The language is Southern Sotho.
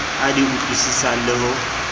a di utlwisisang le ho